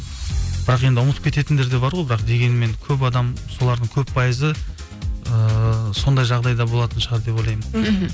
бірақ енді ұмытып кететіндер де бар ғой бірақ дегенмен көп адам солардың көп пайызы ыыы сондай жағдайда болатын шығар деп ойлаймын мхм